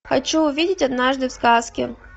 хочу увидеть однажды в сказке